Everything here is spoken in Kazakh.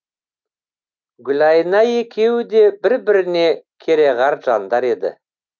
гүлайна екеуі де бір біріне керағар жандар еді